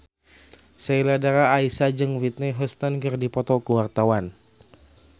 Sheila Dara Aisha jeung Whitney Houston keur dipoto ku wartawan